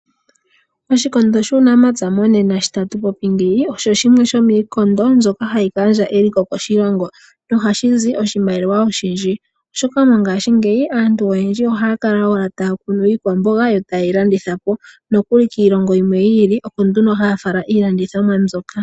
Oshikondo shuunamapya monena osho shimwe shomiikondo mbyoka hayi gandja eliko koshilongo nohaku shi zi oshimaliwa olindji, oshoka mongashingeyi aantu oyendji ohaya kala owala taya kunu iikwamboga yo taye yi landitha po, nokuli kiilongo yimwe yi ili oko nduno haya fala iilandithomwa mbyoka.